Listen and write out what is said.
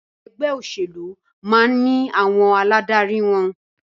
Ẹgbẹ́ òṣèlú máà ní àwọn aládarí wọn.